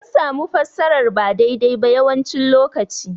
Sun samu fassarar ba daidai ba yawancin lokaci.